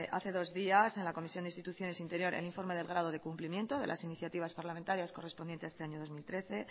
hace dos días en la comisión de instituciones e interior el informe del grado de cumplimiento de las iniciativas parlamentarias correspondiente a este año dos mil trece